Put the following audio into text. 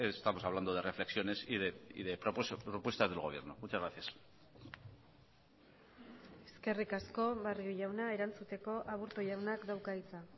estamos hablando de reflexiones y de propuestas del gobierno muchas gracias eskerrik asko barrio jauna erantzuteko aburto jaunak dauka hitza